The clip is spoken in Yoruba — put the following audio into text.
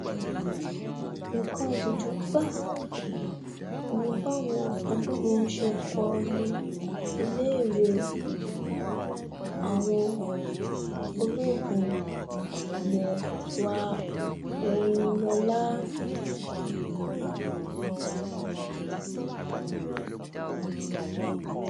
nǹkan ìtìjú gbáà um ni báwọn agbébọn ṣe kó lu iléèwé um àwọn ológun ilẹ̀ wa oyinlọla